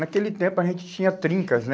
Naquele tempo a gente tinha trincas, né?